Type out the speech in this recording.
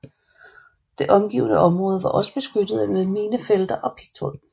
Det omgivende område var også beskyttet med minefelter og pigtråd